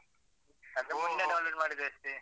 ಅದು ಮೊನ್ನೆ download ಮಾಡಿದ್ದು ಅಷ್ಟೇ.